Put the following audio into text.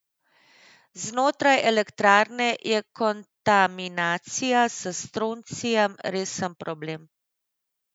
Znotraj elektrarne je kontaminacija s stroncijem resen problem.